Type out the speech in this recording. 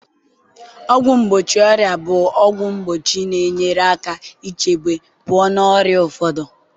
ọgwụ mgbochi ọrịa bụ ọgwụ mgbochi na-enyere aka ichebe pụọ n'ọrịa ụfọdụ